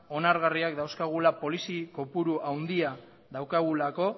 onargarriak dauzkagula polizi kopuru handia daukagulako